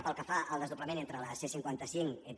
pel que fa al desdoblament de la c·cinquanta cinc entre